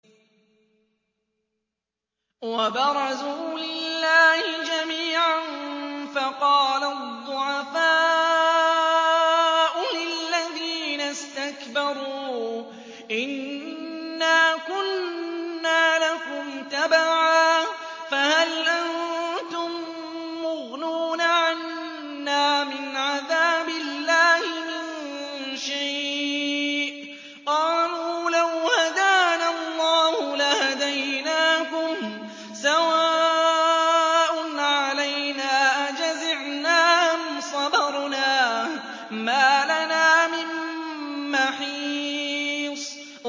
وَبَرَزُوا لِلَّهِ جَمِيعًا فَقَالَ الضُّعَفَاءُ لِلَّذِينَ اسْتَكْبَرُوا إِنَّا كُنَّا لَكُمْ تَبَعًا فَهَلْ أَنتُم مُّغْنُونَ عَنَّا مِنْ عَذَابِ اللَّهِ مِن شَيْءٍ ۚ قَالُوا لَوْ هَدَانَا اللَّهُ لَهَدَيْنَاكُمْ ۖ سَوَاءٌ عَلَيْنَا أَجَزِعْنَا أَمْ صَبَرْنَا مَا لَنَا مِن مَّحِيصٍ